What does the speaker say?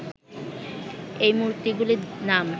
এই মূর্তিগুলির নাম